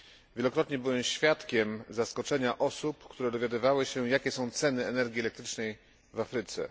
Wielokrotnie byłem świadkiem zaskoczenia osób, które dowiadywały się, jakie są ceny energii elektrycznej w Afryce.